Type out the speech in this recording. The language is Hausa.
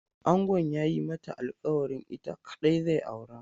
Angon ya yi mata alkawarin ita kaɗai zai aura.